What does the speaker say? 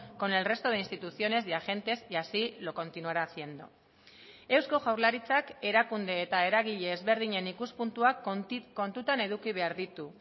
con el resto de instituciones y agentes y así lo continuará haciendo eusko jaurlaritzak erakunde eta eragile ezberdinen ikuspuntuak kontutan eduki behar ditu